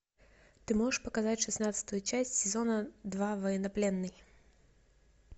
ты можешь показать шестнадцатую часть сезона два военнопленный